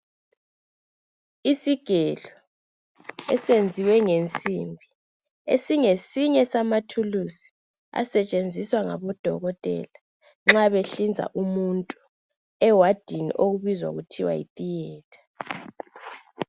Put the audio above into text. Isigelo esenziwe ngensimbi esingesinye samathuluzi asetshenziswa ngabodokotela nxa behlinza umuntu ewadini okubizwa kuthiwa Yi theater